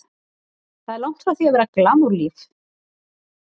Þetta er langt frá því að vera glamúr-líf.